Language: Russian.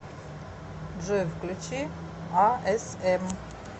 джой включи а эс эм